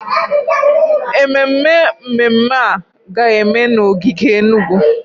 Ememme mmemme a ga-eme n'ogige Enugwu.